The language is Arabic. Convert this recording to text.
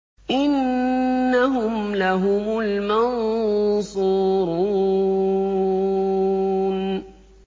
إِنَّهُمْ لَهُمُ الْمَنصُورُونَ